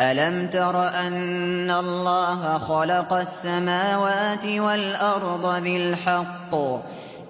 أَلَمْ تَرَ أَنَّ اللَّهَ خَلَقَ السَّمَاوَاتِ وَالْأَرْضَ بِالْحَقِّ ۚ